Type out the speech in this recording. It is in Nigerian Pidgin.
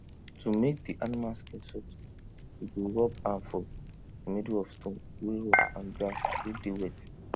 to make di animal skin soft e go rub am for di middle of stone wey rough and grass wey dey wet